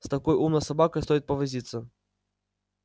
с такой умной собакой стоит повозиться